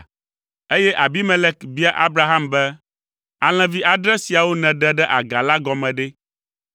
eye Abimelek bia Abraham be, “Alẽvi adre siawo nèɖe ɖe aga la gɔme ɖe?”